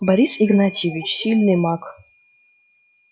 борис игнатьевич сильный маг